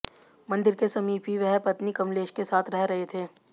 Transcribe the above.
मंदिर के समीप ही वह पत्नी कमलेश के साथ रह रहे थे